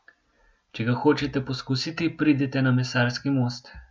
Če ga hočete poskusiti, pridite na Mesarski most.